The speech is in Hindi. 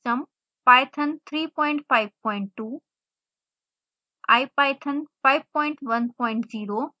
python 352 ipython 510